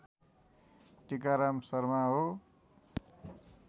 टिकाराम शर्मा हो